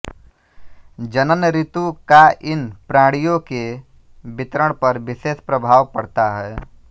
जनन ऋतु का इन प्राणियों के वितरण पर विशेष प्रभाव पड़ता है